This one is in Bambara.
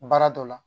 Baara dɔ la